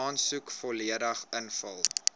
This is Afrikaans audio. aansoek volledig ingevul